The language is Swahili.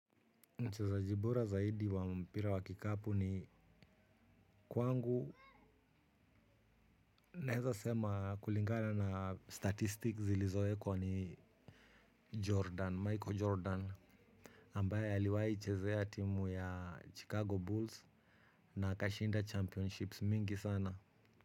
Mchezaji bora zaidi wa mpira wa kikapu ni kwangu naeza sema kulingana na statistic zilizowekwa ni Jordan, Michael Jordan. Ambaye aliwahi chezea timu ya Chicago Bulls na akashinda championships mingi sana.